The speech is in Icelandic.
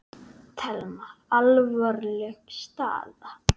Telma: Alvarleg staða?